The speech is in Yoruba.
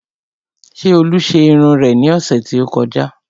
Ṣé olú ṣe irun rẹ ní ọ̀sẹ̀ tí ó kọjá?